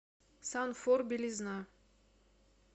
санфор белизна